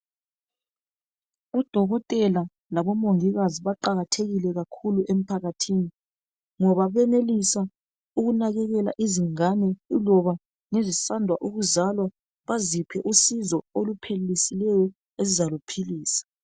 UDokotela labo mongikazi baqakathekile kakhulu emphakathini ngoba benelisa ukunakekela izingane kuloba ngezisanda kuzwala baziphe usizo oluphelelisileyo ezizaluphilisa.